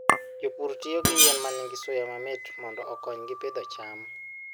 Jopur tiyo gi yien ma nigi suya mamit mondo okonygi pidho cham.